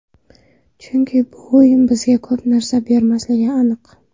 Chunki bu o‘yin bizga ko‘p narsa bermasligi aniq.